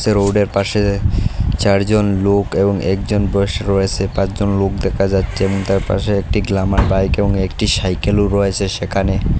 রোডের পাশে চারজন লোক এবং একজন বয়স রয়েছে পাঁচ জন লোক দেখা যাচ্ছে এবং তার পাশে একটি গ্ল্যামার বাইক এবং একটি সাইকেল ও রয়েসে সেখানে।